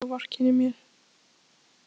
Ég vil ekki að þú vorkennir mér.